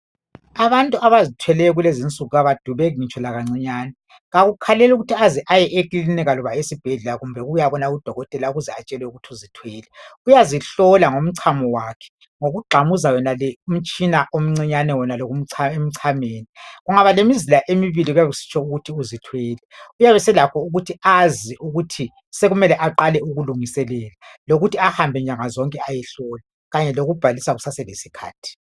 abantu abazithweleyo kulezi insuku abadubeki ngitsho lakancinyane akakhaleli ukuthi uze ayekilinika loba esibhedlela kumbe ukuyabona u dokotela ukuze atshelwe ukuthi uzithwele uyazihlola ngomchamo wakhe ngokugxamuza yonale imitshina emncane wonalo emchameni kubgaba lemizila emibili kuyabe kusitsho ukuthi uzithwele uyabe eselakho ukuthi azi ukuthi sekumele aqale ukulungiselela lokuthi ahambe nyanga zonke ayohlola kanye lokubhalisa kusase lesikhathi